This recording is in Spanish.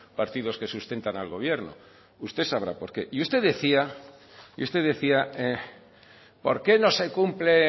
partidos que sustentan al gobierno usted sabrá porque y usted decía y usted decía porque no se cumple